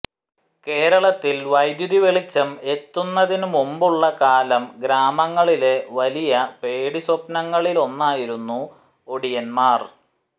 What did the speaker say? കേരളത്തിൽ വൈദ്യുതി വെളിച്ചം എത്തുന്നതിനു മുമ്പുള്ള കാലം ഗ്രാമങ്ങളിലെ വലിയ പേടിസ്വപ്നങ്ങളിലൊന്നായിരുന്നു ഒടിയന്മാർ